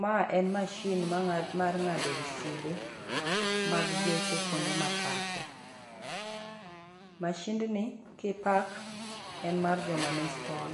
Ma en masin mar ngado riside mag geche kuonde ma pake. Masind ni kipak en mar jo monispal.